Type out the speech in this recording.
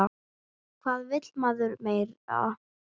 Hvað vill maður meira?